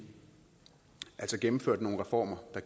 gennemfører nogle reformer der